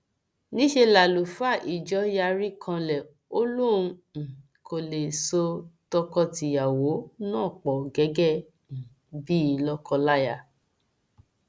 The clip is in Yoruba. níṣẹ làlùfáà ìjọ yarí kanlẹ ó lóun um kó lè so tọkọtìyàwó náà pọ gẹgẹ um bíi lọkọláya